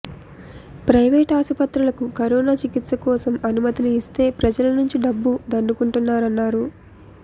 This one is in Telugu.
ప్రైవేటు ఆస్పత్రులకు కరోనా చికిత్స కోసం అనుమతులు ఇస్తే ప్రజల నుంచి డబ్బు దండుకుంటున్నారన్నారు